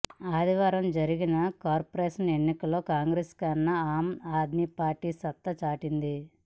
ఆదివారం జరిగిన కార్పొరేషన్ ఎన్నికల్లో కాంగ్రెస్ కన్నా ఆమ్ ఆద్మీ పార్టీ సత్తా చాటింది